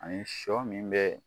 Ani sɔ min bɛ